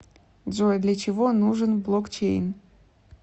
джой для чего нужен блокчейн